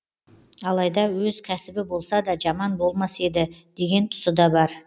алайда өз кәсібі болса да жаман болмас еді деген тұсы да бар